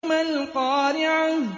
مَا الْقَارِعَةُ